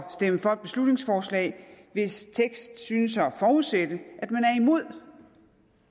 stemme for et beslutningsforslag hvis tekst synes at forudsætte